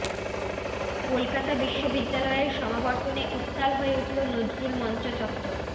কলকাতা বিশ্ববিদ্যালয়ের সমাবর্তনে উত্তাল হয়ে উঠল নজরুল মঞ্চ চত্বর